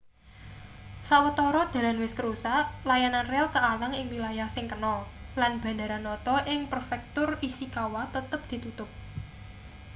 sawetara dalan wis kerusak layanan rel kealang ing wilayah sing kena lan bandara noto ing prefektur ishikawa tetep ditutup